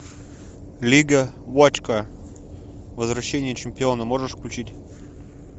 лига вотчкар возвращение чемпиона можешь включить